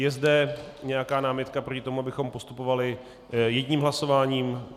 Je zde nějaká námitka proti tomu, abychom postupovali jedním hlasováním?